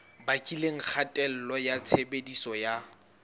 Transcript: bakileng kgatello ya tshebediso ya